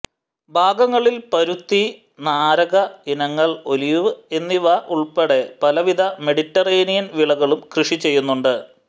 ഭാഗങ്ങളിൽ പരുത്തി നാരക ഇനങ്ങൾ ഒലിവ് എന്നിവ ഉൾപ്പെടെ പലവിധ മെഡിറ്ററേനിയൻ വിളകളും കൃഷി ചെയ്യുന്നുണ്ട്